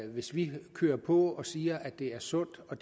hvis vi kører på og siger at det er sundt og